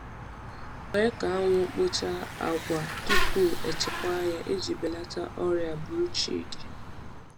Kwe ka anwụ kpochaa agwa tupu echekwa ya iji belata ọrịa bruchid.